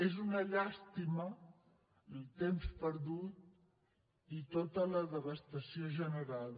és una llàstima el temps perdut i tota la devastació generada